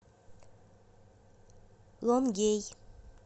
лонгей